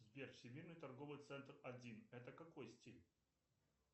сбер всемирный торговый центр один это какой стиль